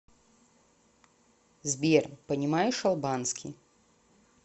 сбер понимаешь албанский